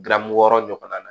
Daramu wɔɔrɔ ɲɔgɔn na